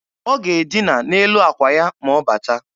Ọ ga-edịna n'elu akwa ya ma ọ bata